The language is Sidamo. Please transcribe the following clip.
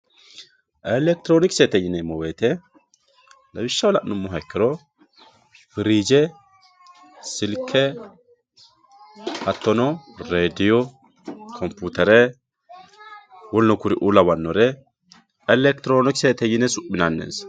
elekitiroonikisete yineemmo woyte lawishshaho la'nummoha ikkiro firije silke hattono rediyo kompiyutere woluno kore lawannore elekitiroonikisete yine su'minanni